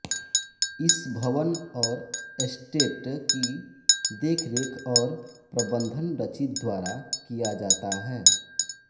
इस भवन औ एस्टेट की देखरेख और प्रबंधन डची द्वारा किया जाता है